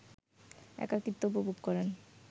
একাকিত্ব উপভোগ করেন